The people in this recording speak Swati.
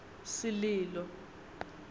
sililo